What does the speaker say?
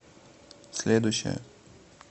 следующая